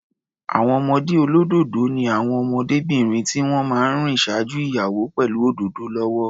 Àwọn ọmọdé olódòdó ni àwọn ọmọdébìnrin tí wọ́n máa ń rìn ṣáájú ìyàwó pẹ̀lú òdòdó lọ́wọ́.